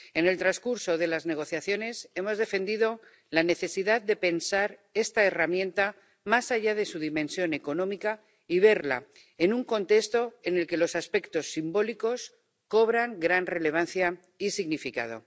En el transcurso de las negociaciones hemos defendido la necesidad de pensar esta herramienta más allá de su dimensión económica y de verla en un contexto en el que los aspectos simbólicos cobran gran relevancia y significado.